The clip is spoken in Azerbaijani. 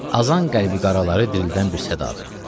Azan qəlbi qaraları dirildən bir sədadır.